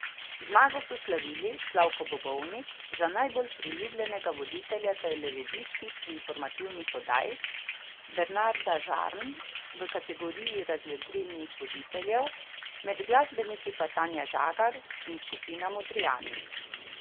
Zmago so slavili Slavko Bobovnik za najbolj priljubljenega voditelja televizijskih informativnih oddaj, Bernarda Žarn v kategoriji razvedrilnih voditeljev, med glasbeniki pa Tanja Žagar in skupina Modrijani.